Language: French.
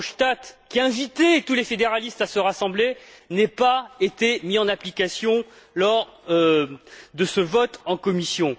Verhofstadt, qui a invité tous les fédéralistes à se rassembler, n'aient pas été mises en application lors du vote en commission.